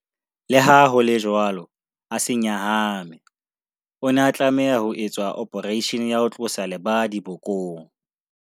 Leha ho le jwalo, a se nyahame. O ne a tlameha ho etswa ophareishene ya ho tlosa lebadi bokong.